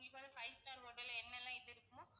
உங்களுக்கு five star hotel ல்ல என்னெல்லாம் இது இருக்குமோ